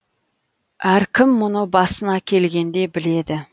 әркім мұны басына келгенде біледі